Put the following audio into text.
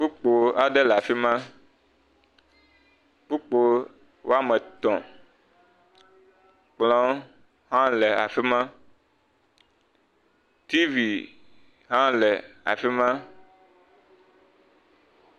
Kpokpo aɖe le afi ma, kpokpo woame etɔ̃ kplɔ hã le afi ma, tv hã le afi ma.